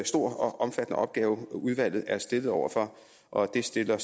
stor og omfattende opgave udvalget er stillet over for og det stiller